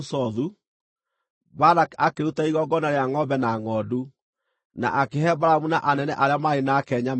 Balaki akĩruta igongona rĩa ngʼombe na ngʼondu, na akĩhe Balamu na anene arĩa maarĩ nake nyama imwe.